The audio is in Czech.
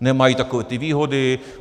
Nemají takové ty výhody.